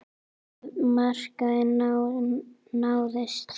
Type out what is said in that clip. Það markmið náðist.